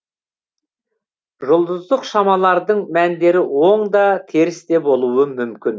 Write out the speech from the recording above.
жұлдыздық шамалардың мәндері оң да теріс те болуы мүмкін